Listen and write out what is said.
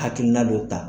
Hakilina dɔ ta